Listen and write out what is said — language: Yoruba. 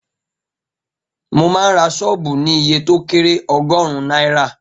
Mo máa ń ra sọ́ọ̀bù ní iye to kẹ́rẹ̀ ogórún náírà